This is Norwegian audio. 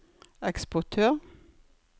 eksportør